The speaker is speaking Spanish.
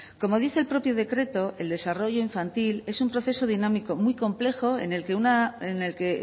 como dice el propio decreto el desarrollo infantil es un proceso dinámico muy complejo en el que